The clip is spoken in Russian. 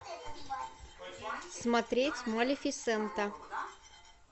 смотреть малефисента